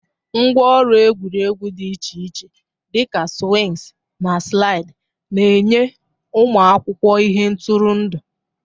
Ngwá ọrụ egwuregwu dị iche iche, dị ka swings na slide, na-enye ụmụ akwụkwọ ihe ntụrụndụ.